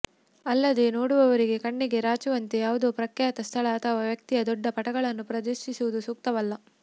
ಅಲ್ಲದೇ ನೋಡುವವರಿಗೆ ಕಣ್ಣಿಗೆ ರಾಚುವಂತೆ ಯಾವುದೋ ಪ್ರಖ್ಯಾತ ಸ್ಥಳ ಅಥವಾ ವ್ಯಕ್ತಿಯ ದೊಡ್ಡ ಪಟಗಳನ್ನು ಪ್ರದರ್ಶಿಸುವುದೂ ಸೂಕ್ತವಲ್ಲ